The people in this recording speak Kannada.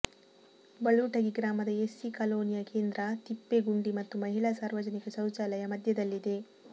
ಬಳೂಟಗಿ ಗ್ರಾಮದ ಎಸ್ಸಿ ಕಾಲೋನಿಯ ಕೇಂದ್ರ ತಿಪ್ಪೆ ಗುಂಡಿ ಮತ್ತು ಮಹಿಳಾ ಸಾರ್ವಜನಿಕ ಶೌಚಾಲಯ ಮಧ್ಯದಲ್ಲಿದೆ